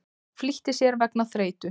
Flýtti sér vegna þreytu